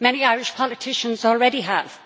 many Irish politicians already have.